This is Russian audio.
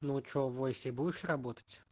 ну че в войсе будешь работать